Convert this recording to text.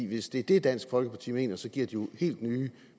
hvis det er det dansk folkeparti mener så giver det jo helt nye